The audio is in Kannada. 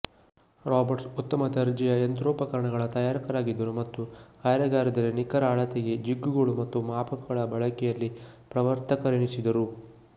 ರಾಬರ್ಟ್ಸ್ ಉತ್ತಮ ದರ್ಜೆಯ ಯಂತ್ರೋಪಕರಣಗಳ ತಯಾರಕರಾಗಿದ್ದರು ಮತ್ತು ಕಾರ್ಯಾಗಾರದಲ್ಲಿ ನಿಖರ ಅಳತೆಗೆ ಜಿಗ್ಗುಗಳು ಮತ್ತು ಮಾಪಕಗಳ ಬಳಕೆಯಲ್ಲಿ ಪ್ರವರ್ತಕರೆನಿಸಿದರು